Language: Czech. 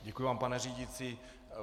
Děkuji vám, pane řídící.